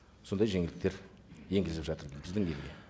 сондай жеңілдіктер енгізіліп жатыр біздің елде